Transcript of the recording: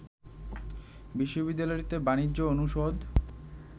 বিশ্ববিদ্যালয়টিতে বাণিজ্য অনুষদ